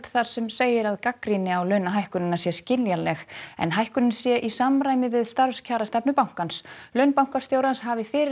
þar sem segir að gagnrýni á launahækkunina sé skiljanleg en hækkunin sé í samræmi við starfskjarastefnu bankans laun bankastjórans hafi fyrir